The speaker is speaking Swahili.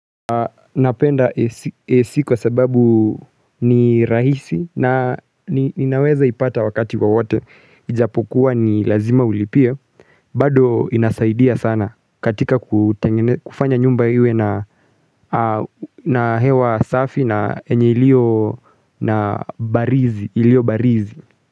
Napenda AC kwa sababu ni rahisi na ninaweza ipata wakati wowote ijapokuwa ni lazima ulipie bado inasaidia sana katika kufanya nyumba iwe na hewa safi na yenye iliyo na barizi iliyo barizi.